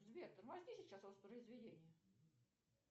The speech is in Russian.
сбер тормозни сейчас воспроизведение